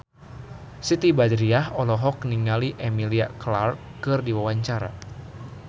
Siti Badriah olohok ningali Emilia Clarke keur diwawancara